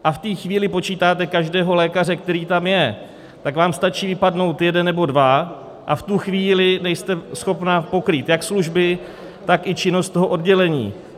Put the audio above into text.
A v té chvíli počítáte každého lékaře, který tam je, tak vám stačí vypadnout jeden nebo dva, a v tu chvíli nejste schopna pokrýt jak služby, tak i činnost toho oddělení.